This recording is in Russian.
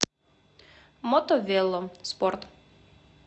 мото вело спорт